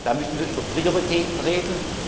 Zeit. Da müssen wir über Prioritäten